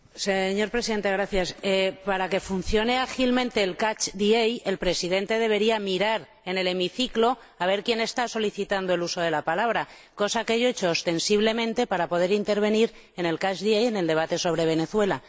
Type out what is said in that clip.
Señor Presidente, para que funcione ágilmente el el Presidente debería mirar en el hemiciclo para ver quién está solicitando el uso de la palabra, cosa que yo he hecho ostensiblemente para poder intervenir en el del debate sobre Venezuela.